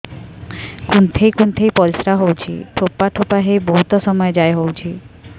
କୁନ୍ଥେଇ କୁନ୍ଥେଇ ପରିଶ୍ରା ହଉଛି ଠୋପା ଠୋପା ହେଇ ବହୁତ ସମୟ ଯାଏ ହଉଛି